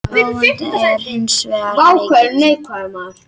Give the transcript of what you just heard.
Gróðavonin er hins vegar mikil